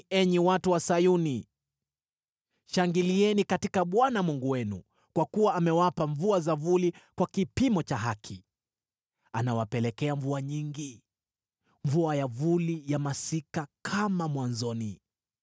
Furahini, enyi watu wa Sayuni, shangilieni katika Bwana Mungu wenu, kwa kuwa amewapa mvua za vuli kwa kipimo cha haki. Anawapelekea mvua nyingi, mvua ya vuli na ya masika, kama mwanzoni.